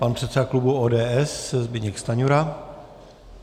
Pan předseda klubu ODS Zbyněk Stanjura.